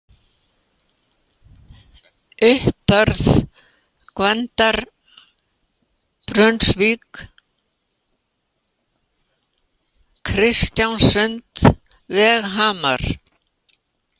Uppbörð, Gvendarbrunnsvík, Kristjánssund, Veghamrar